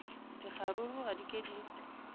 dikgaruru ga di ke di